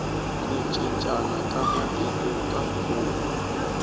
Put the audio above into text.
ku cincana ka matiko ka pfuna